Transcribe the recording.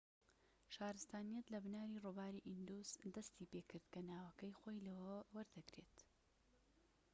شارستانیەت لە بناری ڕووباری ئیندوس دەستی پێکرد کە ناوەکەی خۆی لەوەوە وەردەگرێت